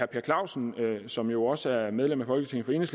per clausen som jo også er medlem af folketinget